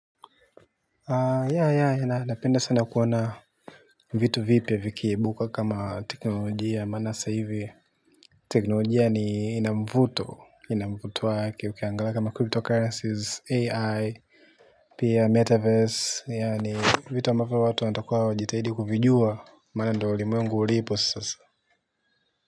Napenda sana kuona vitu vipya vikiibuka kama teknolojia maana hasa hivi teknolojia ina mvuto wake ukiangalia kama kumetokea AI pia meta verse yaani vitu ambavyo watu watakuwa wanajitahidi kuvijua maana ndio ulimwengu ulipo sasa.